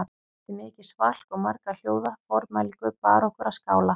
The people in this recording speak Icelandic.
Eftir mikið svalk og marga hljóða formælingu bar okkur að skála